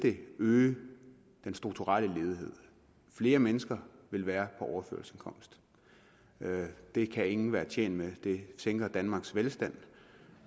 øge den strukturelle ledighed flere mennesker vil være på overførselsindkomst det kan ingen være tjent med det sænker danmarks velstand